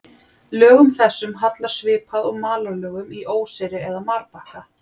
Lögum þessum hallar svipað og malarlögum í óseyri eða marbakka.